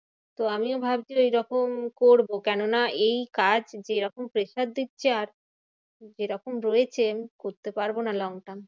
তো আমিও ভাবছি ওইরকম করবো। কেননা এই কাজ যেরকম pressure দিচ্ছে আজ যেরকম রয়েছে এই করতে পারবোনা long term.